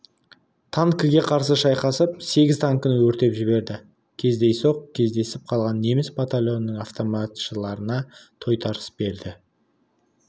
танкіге қарсы шайқасып сегіз танкіні өртеп жіберді кездейсоқ кездесіп қалған неміс батальонының автоматшыларына тойтарыс берді